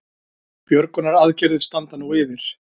Björgunaraðgerðir standa nú yfir